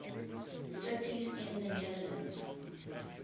cities in the netherlands